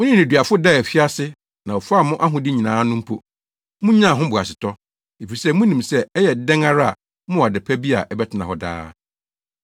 Mo ne nneduafo daa afiase na wɔfaa mo ahode nyinaa no mpo, munyaa ho boasetɔ, efisɛ munim sɛ ɛyɛ dɛn ara a mowɔ ade pa bi a ɛbɛtena hɔ daa.